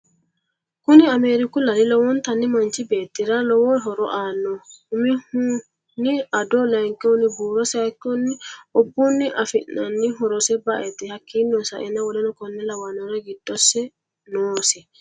Kuni ameeriku laali lowonitanni manichi beetirra lowo horro aano. Umihuni ado, layikihuni buurro sayiikihuni obunni afinanni horrosi ba'ete hakiino sa'eena W. K. L giddosi noosi.